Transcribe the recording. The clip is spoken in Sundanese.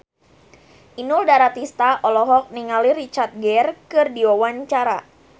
Inul Daratista olohok ningali Richard Gere keur diwawancara